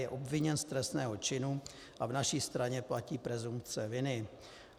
Je obviněn z trestného činu a v naší straně platí presumpce viny.